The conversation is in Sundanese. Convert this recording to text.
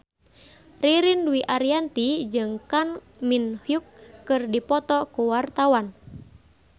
Ririn Dwi Ariyanti jeung Kang Min Hyuk keur dipoto ku wartawan